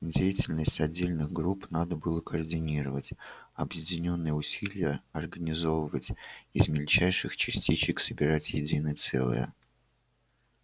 деятельность отдельных групп надо было координировать объединённые усилия организовывать из мельчайших частичек собирать единое целое